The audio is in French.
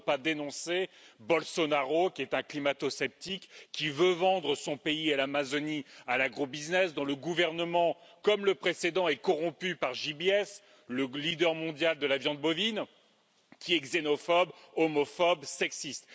Comment ne pas dénoncer Bolsonaro, un climato sceptique qui veut vendre son pays et l'Amazonie à l'agro business, dont le gouvernement comme le précédent est corrompu par JBS, le leader mondial de la viande bovine, et qui est xénophobe, homophobe, sexiste?